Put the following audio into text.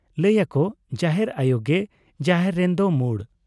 ᱞᱟᱹᱭ ᱟᱠᱚ ᱡᱟᱦᱮᱨ ᱟᱭᱚ ᱜᱮ ᱡᱟᱦᱮᱨ ᱨᱮᱱ ᱫᱚ ᱢᱚᱬ ᱾